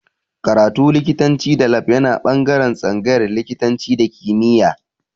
Karatu likitanci da lab yana ɓangaren tsangayar likitanci da kimiya